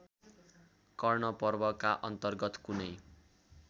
कर्णपर्वका अन्तर्गत कुनै